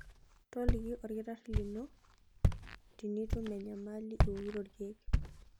Toliki olkitarri lino tinitum enyamali iwokito ilkeek.